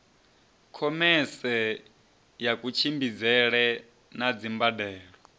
khomese ya kutshimbidzele na dzimbandelo